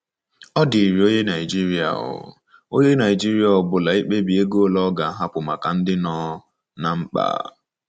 Ọ dịịrị onye Naijiria ọ onye Naijiria ọ bụla ikpebi ego ole ọ ga-ahapụ maka ndị nọ ná mkpa.